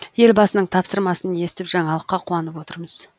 елбасының тапсырмасын естіп жаңалыққа қуанып отырмыз